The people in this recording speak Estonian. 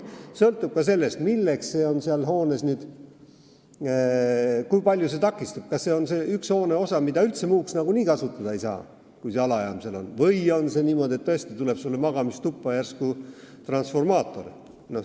Sõltub ka sellest, kui palju see elamist takistab, st kas on üks hooneosa, mida muuks otstarbeks nagunii üldse kasutada ei saa kui alajaamaks, või on see niimoodi, et tõesti tuleb sulle magamistuppa järsku transformaator.